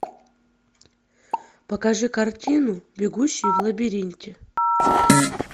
покажи картину бегущие в лабиринте